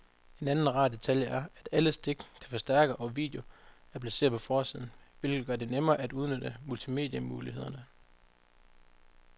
En anden rar detalje er, at alle stik til forstærker og video er placeret på forsiden, hvilket gør det nemmere at udnytte multimedie-mulighederne.